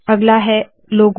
अगला है लोगो